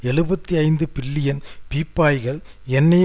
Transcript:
எழுபத்தி ஐந்து பில்லியன் பீப்பாய்கள் எண்ணெயை